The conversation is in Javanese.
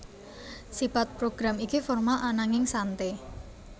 Sipat program iki formal ananging sante